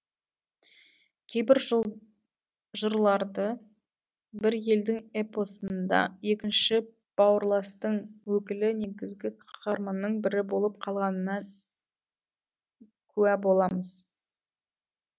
кейбір жырларды бір елдің эпосында екінші бауырластың өкілі негізгі қаһарманның бірі болып қалғанына куә боламыз